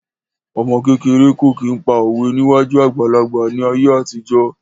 Ọmọ kékeré kò kí n pa òwe níwájú àgbàlagbà ní ayé àtijọ́